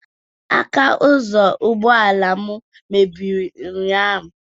Aka ụzọ ụgbọala m mebiri ụnyaahụ